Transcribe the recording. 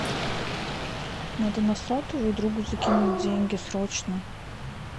надо на сотовый другу закинуть деньги срочно